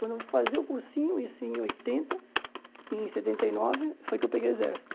Quando eu fui fazer o cursinho, isso em oitenta, em setenta e nove, foi que eu peguei o exército.